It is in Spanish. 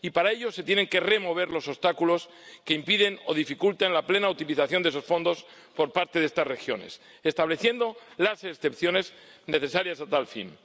Y para ello se tienen que remover los obstáculos que impidan o dificulten la plena utilización de esos fondos por parte de estas regiones, estableciendo las excepciones necesarias a tal fin.